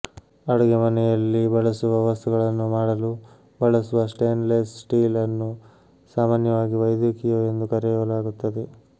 ಅಡುಗೆಮನೆಯಲ್ಲಿ ಬಳಸುವ ವಸ್ತುಗಳನ್ನು ಮಾಡಲು ಬಳಸುವ ಸ್ಟೇನ್ಲೆಸ್ ಸ್ಟೀಲ್ ಅನ್ನು ಸಾಮಾನ್ಯವಾಗಿ ವೈದ್ಯಕೀಯವೆಂದು ಕರೆಯಲಾಗುತ್ತದೆ